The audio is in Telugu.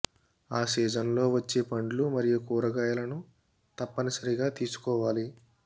ఆ సీజన్ లో వచ్చే పండ్లు మరియు కూరగాయలను తప్పనిసరిగా తీసుకోవాలి